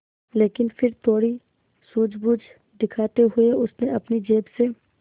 लेकिन फिर थोड़ी सूझबूझ दिखाते हुए उसने अपनी जेब से